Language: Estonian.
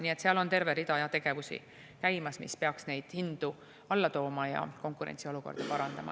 Nii et seal on käimas terve rida tegevusi, mis peaks neid hindu alla tooma ja konkurentsiolukorda parandama.